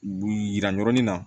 Yira yira yɔrɔnin na